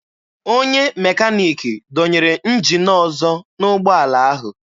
Onye mekaniki dọnyere njin ọzọ n'ụgbọala ahụ.